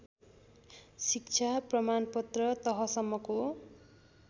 शिक्षा प्रमाणपत्र तहसम्मको